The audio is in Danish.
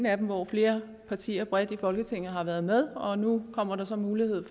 af dem hvor flere partier bredt i folketinget har været med og nu kommer der så en mulighed